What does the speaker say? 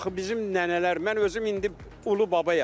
Axı bizim nənələr, mən özüm indi ulu babayam.